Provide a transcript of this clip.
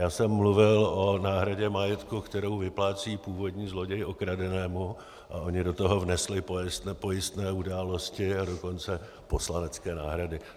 Já jsem mluvil o náhradě majetku, kterou vyplácí původní zloděj okradenému, a oni do toho vnesli pojistné události, a dokonce poslanecké náhrady.